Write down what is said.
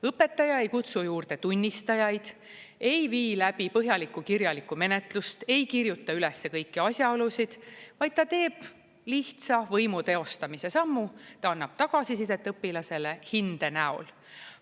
Õpetaja ei kutsu juurde tunnistajaid, ei vii läbi põhjalikku kirjalikku menetlust, ei kirjuta ülesse kõiki asjaolusid, vaid ta teeb lihtsa võimu teostamise sammu: ta annab tagasisidet õpilasele hinde näol.